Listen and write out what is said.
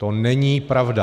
To není pravda!